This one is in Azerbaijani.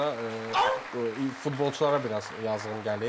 Mən burda futbolçulara biraz yazığım gəlir.